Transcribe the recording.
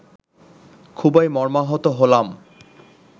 খুবই মর্মাহত হলাম